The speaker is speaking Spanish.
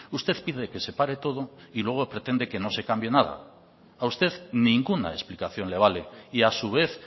usted pide que se pare todo y luego pretende que no se cambie nada a usted ninguna explicación le vale y a su vez